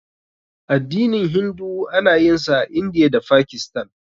Addinin Hindu ana yin sa a Indiya da Fakistan.